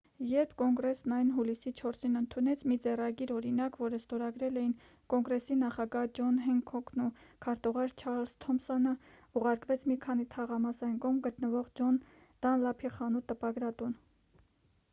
երբ կոնգրեսն այն հուլիսի 4-ին ընդունեց մի ձեռագիր օրինակ որը ստորագրել էին կոնգրեսի նախագահ ջոն հենքոքն ու քարտուղար չարլզ թոմսոնը ուղարկվեց մի քանի թաղամաս այն կողմ գտնվող ջոն դանլափի խանութ-տպագրատուն